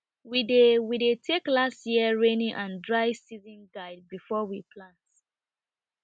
we dey we dey take last year raining and dry season guide before we plant